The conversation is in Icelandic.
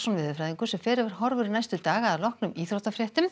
veðurfræðingur fer yfir horfur næstu daga að loknum íþróttafréttum